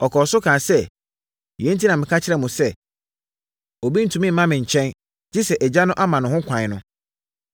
Ɔkɔɔ so kaa sɛ, “Yei enti na meka kyerɛɛ mo sɛ, obi ntumi mma me nkyɛn gye sɛ Agya no ama no ho ɛkwan” no.